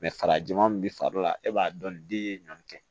farajɛman min bi farikolo la e b'a dɔn ni den ye ɲɔni kɛ